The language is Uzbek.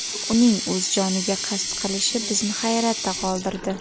Uning o‘z joniga qasd qilishi bizni hayratda qoldirdi.